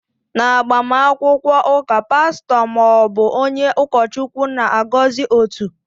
N'agbamakwụkwọ ụka, pastọ ma ọ bụ onye ụkọchukwu na-agọzi otu.